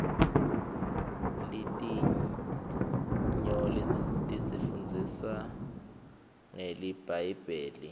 litiny tisifundzisa ngelibhayibheli